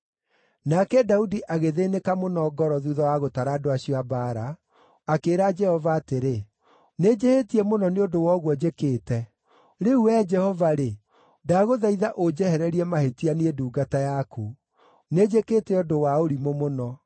Nake Daudi agĩthĩĩnĩka mũno ngoro thuutha wa gũtara andũ acio a mbaara, akĩĩra Jehova atĩrĩ, “Nĩnjĩhĩtie mũno nĩ ũndũ wa ũguo njĩkĩte. Rĩu, Wee Jehova-rĩ, ndagũthaitha ũnjehererie mahĩtia, niĩ ndungata yaku. Nĩnjĩkĩte ũndũ wa ũrimũ mũno.”